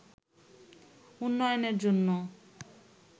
উন্নয়নের জন্য